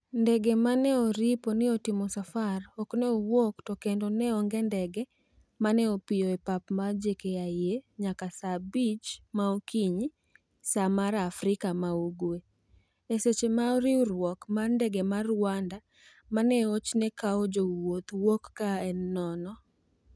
ndege ma ne oripo ni timo safar ok ne owuok to kendo ne onge ndege mane opiyo e pap mar JKIA nyaka saa abich maokinyi saa mar Afrika ma ugwe, e seche ma riwruok mar ndege ma Rwanda maneochne kawo jowuoth wouk ka en nono.